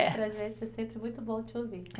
Para a gente é sempre muito bom te ouvir.